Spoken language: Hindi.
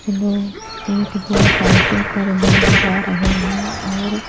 चलो एक दो साइकिल पर भी जा रहे हैं और--